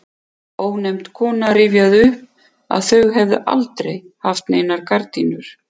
Ónefnd kona rifjaði upp að þau hefðu aldrei haft neinar gardínur.